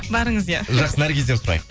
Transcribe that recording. барыңыз иә жақсы наргизден сұрайық